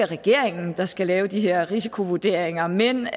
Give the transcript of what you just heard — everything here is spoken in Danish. regeringen der skal lave de her risikovurderinger men